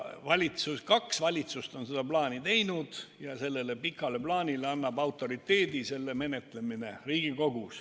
Kaks valitsust on seda pikka plaani teinud ja sellele annab autoriteedi selle plaani menetlemine Riigikogus.